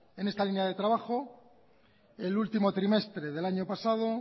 en esta línea de trabajo el último trimestre del año pasado